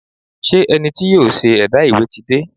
Ṣé ẹni tí yóò ṣe ẹ̀dà ìwé ti dé?